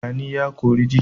Gani ya kori ji